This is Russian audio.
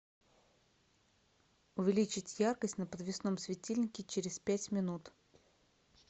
увеличить яркость на подвесном светильнике через пять минут